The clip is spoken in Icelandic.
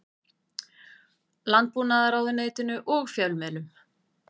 Landbúnaðarráðuneytinu og fjölmiðlum.